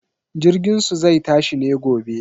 Jirginsu zai tashi ne gobe.